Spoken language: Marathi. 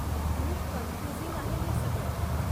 खूप कन्फ्युझिंग आहे हे सगळं.